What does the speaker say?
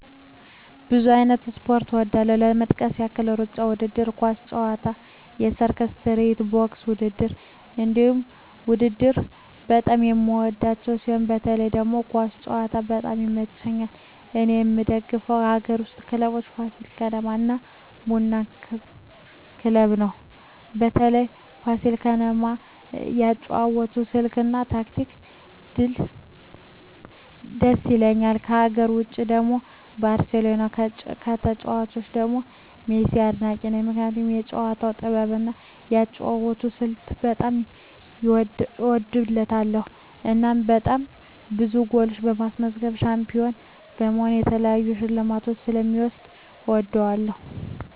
ብዙ አይነት ስፖርት እወዳለሁ ለመጥቀስ ያህል እሩጫ ውድድር፣ ኳስ ጨዋታ፣ የሰርከስ ትርኢት፣ ቦክስ ውድድር እነዚህን ውድድር በጣም የምወዳቸው ሲሆን በተለይ ደግሞ ኳስ ጨዋታ በጣም ይመቸኛል እኔ የምደግፈው ከአገር ውስጥ ክለቦች ፋሲል ከነማ እና ቡና ክለብ ነው በተለይ ፋሲል ከነማ የአጨዋወት ስልት እና ታክቲኩ ድስ ይላል ከሀገር ውጭ ደግሞ ባርሴሎና ከተጫዋቾቹ ደግሞ ሜሲን አድናቂ ነኝ ምክንያቱም የጨዋታው ጥበብ እና የአጨዋወት ስልቱ በጣም ይወደድለታል እናም በጣም ብዙ ጎሎች በማስገባት ሻንፒሆን በመሆን የተለያዩ ሽልማቶችን ስለ ሚወስድ እወደዋለሁ።